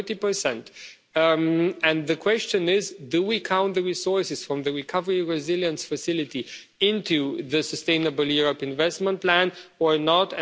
40. The question is, do we count the resources from the recovery resilience facility under the Sustainable Europe Investment Plan or